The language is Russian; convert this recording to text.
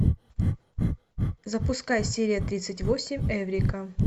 запускай серия тридцать восемь эврика